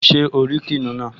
Ṣé o rí kìnìún náà?